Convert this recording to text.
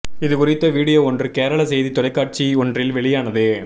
இது குறித்த வீடியோ ஒன்று கேரள செய்தி தொலைக்காட்சி ஒன்றில் வெளியானது